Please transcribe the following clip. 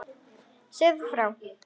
Segðu þá frá.